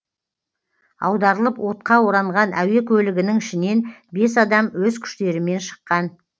аударылып отқа оранған әуе көлігінің ішінен бес адам өз күштерімен шыққан